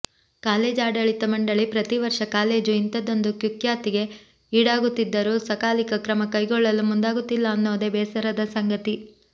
college ಆಡಳಿತ ಮಂಡಳಿ ಪ್ರತೀವರ್ಷ ಕಾಲೇಜು ಇಂಥದ್ದೊಂದು ಕುಖ್ಯಾತಿಗೆ ಈಡಾಗುತ್ತಿದ್ದರೂ ಸಕಾಲಿಕ ಕ್ರಮ ಕೈಗೊಳ್ಳಲು ಮುಂದಾಗುತ್ತಿಲ್ಲ ಅನ್ನೋದೇ ಬೇಸರದ ಸಂಗತಿ